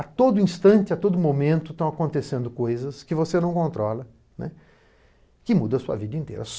A todo instante, a todo momento, estão acontecendo coisas que você não controla, né, que muda sua vida inteira.